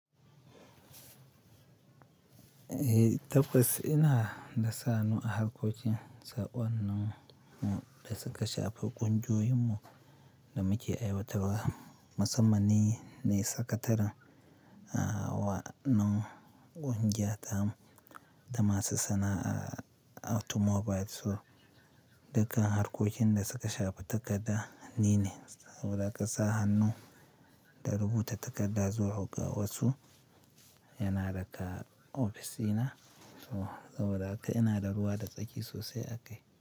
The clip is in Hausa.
Eh, tabbas ina da sa hannu a harkokin sa'o'annan da suka shafi ƙungiyoyinmu da muke aiwatarwa. Masamman ni, ne sakataren waɗannan ƙungiya tamu da masu sana'ar automobiles. Dukkan harkokin da suka shafi takarda ni ne, saboda haka sa hannun da rubuta takarda zuwa ga wasu yana daƙa ofisina. Saboda haka ina da ruwa da tsaki sosai a kai.